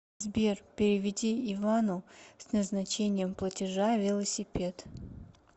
сбер переведи ивану с назначением платежа велосипед